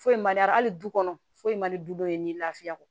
Foyi man di a hali du kɔnɔ foyi man di du dɔ ye ni lafiya kɔ